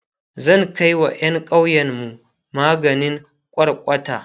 zan Kai wa ƴan ƙauyenmu maganin kwarkwata